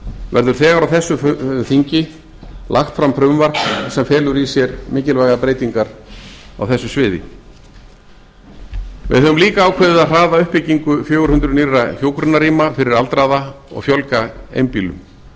verður þegar á þessu þingi lagt fram frumvarp sem felur í sér mikilvægar breytingar á þessu sviði við höfum líka ákveðið að hraða uppbyggingu fjögur hundruð nýrra hjúkrunarrýma fyrir aldraða og fjölga einbýlum þá